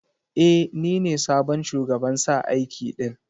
E, ni ne sabon shugaban sa aiki din.